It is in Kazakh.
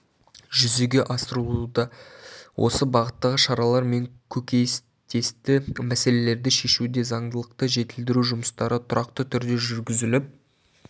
жүзеге асырылуда осы бағыттағы шаралар мен көкейтесті мәселелерді шешуде заңдылықты жетілдіру жұмыстары тұрақты түрде жүргізіліп